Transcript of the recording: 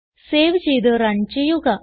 save ചെയ്ത് run ചെയ്യുക